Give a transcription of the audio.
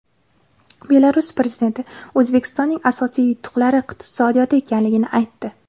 Belarus prezidenti O‘zbekistonning asosiy yutuqlari iqtisodiyotda ekanligini aytdi.